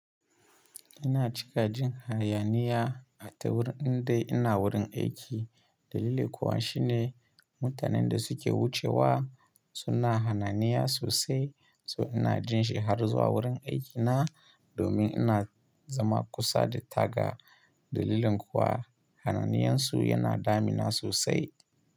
Ina cika jin hayaniya a ta wurin inda ina wurin aiki. Dalili kuwa shi ne mutanen da suke wucewa suna hayaniya sosai. To ina jin shi harzuwa wurin aikina domin ina zama kusa da taga. Dalilin kuwa hananiyansu yana damina sosai.